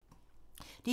DR2